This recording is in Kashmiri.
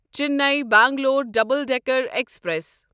Chennai Bangalore double decker express